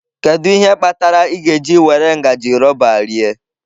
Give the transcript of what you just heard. Kedu ihe kpatara ị ga-eji were ngaji rọba rie?